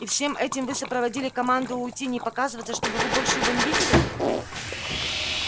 и всем этим вы сопроводили команду уйти и не показываться чтобы вы больше его не видели